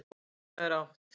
Við hvað er átt?